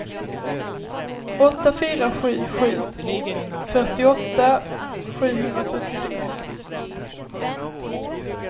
åtta fyra sju sju fyrtioåtta sjuhundrafyrtiosex